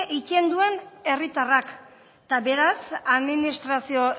eitten duen herritarrak eta beraz administrazio